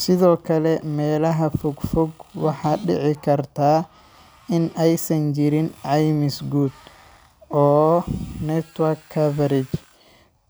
Sithokale melaha fog fog waxa dici karta in ay san jirin caymis guud oo network coverage.